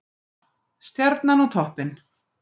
Stjarnan á toppinn